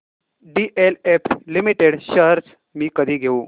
DLF limited shares मी कधी घेऊ